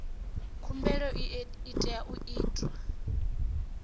khumbelo i tea u itwa